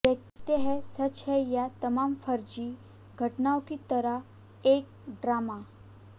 देखते हैं सच है या तमाम फर्जी घटनाओं की तरह एक ड्रामा